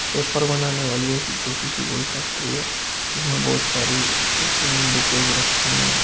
Paper बनाने वाली ऐसी छोटी सी कोई फैक्ट्री है जिसमें बहुत सारी बुकेज रखी हैं।